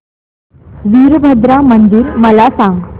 वीरभद्रा मंदिर मला सांग